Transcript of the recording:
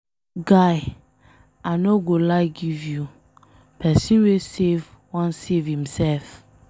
Guy, I no go lie give you, pesin wey save wan save imself.